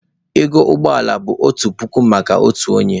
Ego ụgbọ ala bụ otu puku maka otu onye.